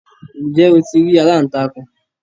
ǹjẹ́ o ti rí “aláǹtakùn?